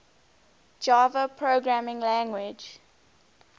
java programming language